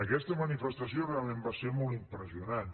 aquesta manifestació realment va ser molt impressionant